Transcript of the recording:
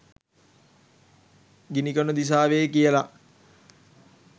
ගිණිකොණ දිසාවේ කියලා.